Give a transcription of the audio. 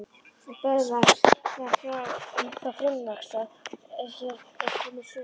Böðvar var þá frumvaxta er hér er komið sögu.